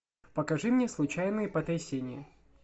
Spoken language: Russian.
покажи мне случайные потрясения